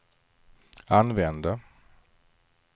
använde